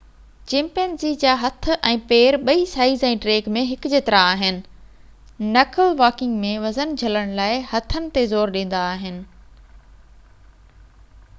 chimpanzee جا هٿ ۽ پير ٻئي سائيز ۽ ڊيگهہ ۾ هڪ جيترا آهن نڪل واڪنگ ۾ وزن جهلڻ لاءِ هٿن تي زور ڏيندا آهن